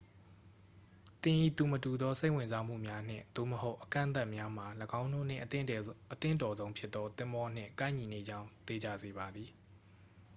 သင်၏ သူမတူသော စိတ်ဝင်စားမှုများ နှင့်/သို့မဟုတ် အကန့်အသတ်များမှာ ၎င်းတို့နှင့် အသင့်တော်ဆုံးဖြစ်သော သင်္ဘောနှင့် ကိုက်ညီနေကြောင်း သေချာစေပါသည်။